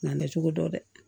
N'a bɛ cogo dɔn dɛ